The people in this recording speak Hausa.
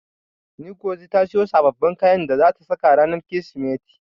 Ngozi ta siyo sababbin kayan da zata saka ranar Kirsimeti.